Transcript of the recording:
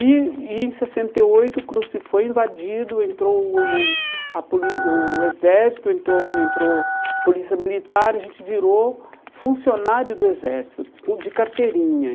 E e em sessenta e oito o CRUSP foi invadido, entrou o o o a polí o exército, entrou entrou a polícia militar e a gente virou funcionário do exército, com de carteirinha.